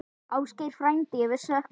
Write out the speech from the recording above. Ásgeir frændi, við söknum þín.